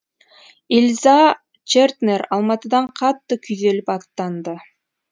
ильза чертнер алматыдан қатты күйзеліп аттанды